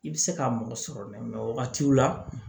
I bɛ se ka mɔgɔ sɔrɔ wagatiw la